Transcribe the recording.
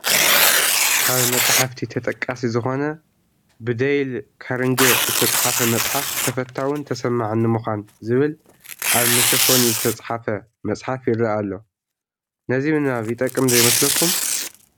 ካብ መፅሓፍቲ ተጠቃሲ ዝኾነ ብደይል ካርንጌ ዝተፃሕፈ መፅሓፍ "ተፈታውን ተሰማዕን ንምዃን" ዝብል ኣብ መሸፈኒኡ ዝተፃሕፈ መፅሓፍ ይረአ ኣሎ፡፡ ነዚ ምንባብ ይጠቅም ዶ ይመስለኩም?